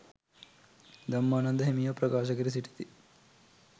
ධම්මානන්ද හිමියෝ ප්‍රකාශ කර සිටිති.